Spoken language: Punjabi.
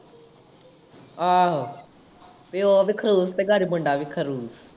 ਆਹੋ ਪਿਓ ਵੀ ਖੜੂਸ ਤੇ ਘਰ ਮੁੰਡਾ ਵੀ ਖੜੂਸ।